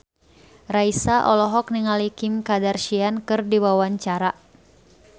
Raisa olohok ningali Kim Kardashian keur diwawancara